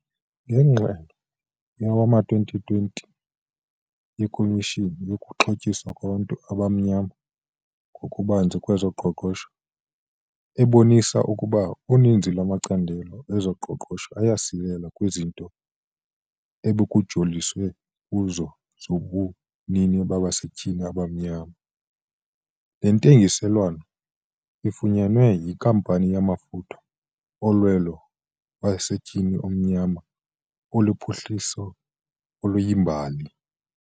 Ngengxelo yowama-2020 yeKomishoni yokuXhotyiswa kwaBantu abaMnyama ngokuBanzi kwezoQoqosho ebonisa ukuba uninzi lwamacandelo ezoqoqosho ayasilela kwizinto ebekujoliswe kuzo zobunini babasetyhini abamnyama, le ntengiselwano efunyenwe yinkampani yamafutha olwelo yowasetyhini omnyama iluphuhliso oluyimbali.